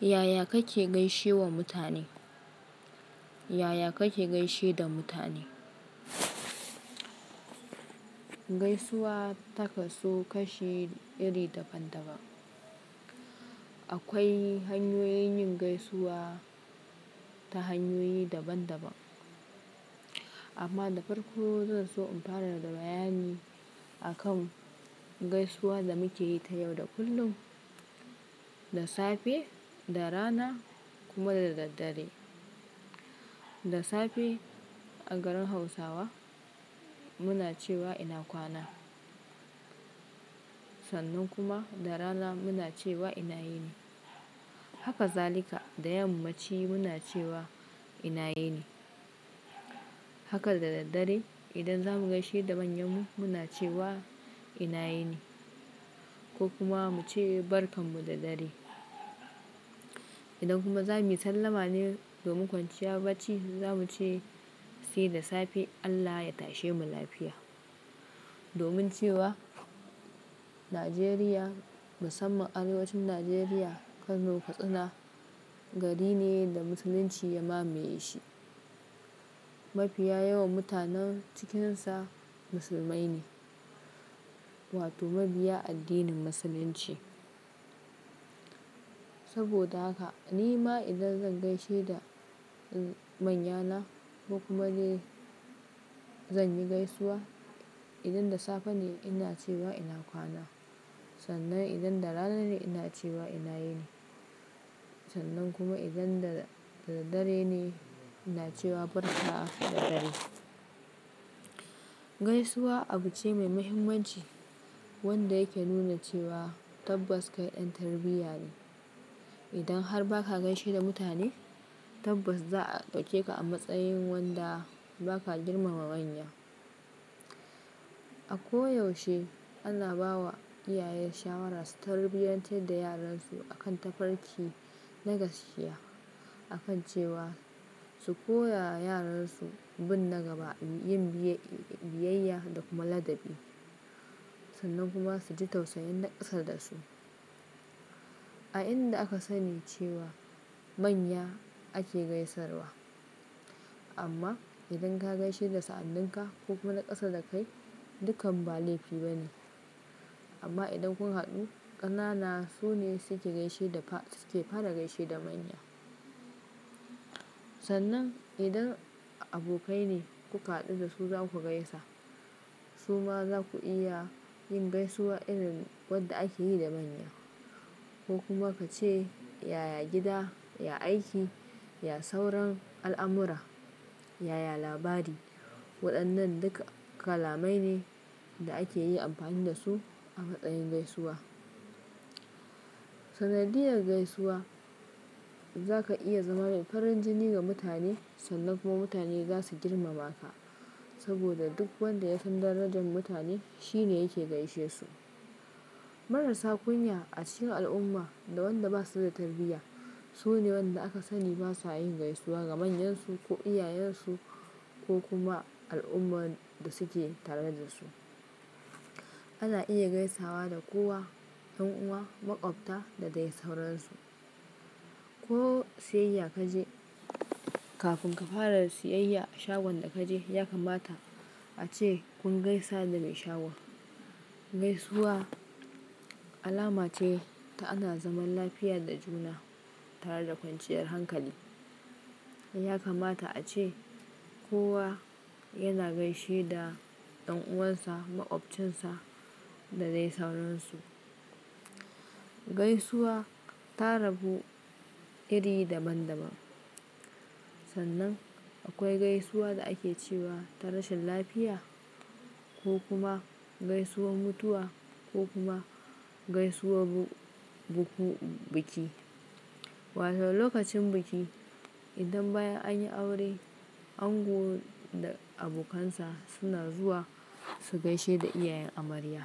Yaya kake gaishe wa mutane? Yaya kake gaishe da mutane? Gaisuwa ta kasu kashi iri daban-daban. Akwai hanyoyin yin gaisuwa ta hanyoyi daban-daban. Amma da farko zan so in fara da bayani akan gaisuwa da muke yi ta yau da kullum, da safe, da rana kuma daraddare. Da safe a garin Hausawa muna cewa ina kwana. Sannan kuma da rana muna cewa ina yini. Haka zalika da yammaci muna cewa ina yini. Haka daraddare idan zamu gaishe da manyanmu muna cewa ina yini ko kuma mu ce barkan mu da dare. Idan kuma za mu yi sallama ne do min kwanciya bacci, za mu ce sai da safe Allah ya tashe mu lafiya. Domin cewa nigeria musamman arewacin Nigeria, kano, katsina, gari ne da musulunci ya mamaye shi mafiya yawan mutanen cikinsa musulmai ne wato mabiya addinin Musulunci. Saboda haka ni ma idan zan gaishe da manyana ko kuma dai zan yi gaisuwa, idan da safe ne ina cewa ina kwana. Sannan idan da rana ne ina cewa ina yini. Sannan kuma idan da dare ne ina cewa barka da dare. Gaisuwa abu ce mai mahimmanci wanda yake nuna cewa tabbas kai ɗan tarbiyya ne. Idan har ba ka gaishe da mutane tabbas za a ɗauke ka a matsayin wanda ba ka girmama manya. A ko yaushe ana bawa iyaye shawara su tarbiyantar da yaransu akan tafarki na gaskiya akan cewa su koya wa yaransu bin na gaba, yin biyayya da kuma ladabi. Sannan kuma su ji tausayin na ƙasa da su. A inda aka sani cewa manya ake gaisarwa. Amma idan ka gaishe da sa'anninka ko kuma na ƙasa da kai dukkan ba laifi ba ne. Amma idan kun haɗu ƙanana su ne suke fara gaishe da manya. Sannan idan abokai ne kuka haɗu da su za ku gaisa. Su ma za ku iya yin gaisuwa irin wadda ake yi da manya. Ko kuma ka ce yaya gida, ya aiki, ya sauran al'amura, yaya labari. Waɗannan duka kalamai ne da ake yi amfani da su a matsayin gaisuwa. Sanadiyar gaisuwa za ka iya zama mai farin jini ga mutane sannan kuma mutane za su girmama ka. Saboda duk wanda ya san darajan mutane shi ne yake gaishe su. Marasa kunya, acikin al'umma da wanda ba su da tarbiyya su ne wanda aka sani ba sa yin gaisuwa ga manyansu ko iyayensu ko kuma al'ummar da suke tare da su. Ana iya gaisawa da kowa, ɗan'uwa, maƙwabta da dai sauransu. Ko siyayya ka je kafin ka fara siyayya a shagon da ka je ya kamata a ce kun gaisa da mai shagon. Gaisuwa alama ce ta ana zaman lafiya da juna tare da kwanciyar hankali. Ya kamata a ce kowa yana gaishe da ɗan'uwansa, maƙwabcinsa da dai sauransu. Gaisuwa ta rabu iri daban-daban. Sannan akwai gaisuwa da ake cewa ta rashin lafiya ko kuma gaisuwar mutuwa ko kuma gaisuwar biki. Wato lokacin biki idan bayan an yi aure ango da abokansa suna zuwa su gaishe da iyayen amarya.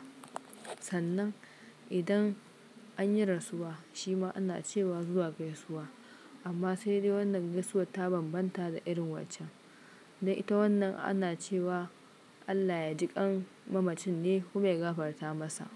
Sannan idan an yi rasuwa shi ma ana cewa zuwa gaisuwa. Amma sai dai wannan gaisuwar ta bambanta da irin waccen. Ta wannan ana cewa Allah ya jiƙan mamacin ne kuma ya gafarta masa.